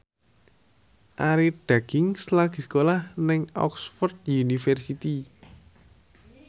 Arie Daginks lagi sekolah nang Oxford university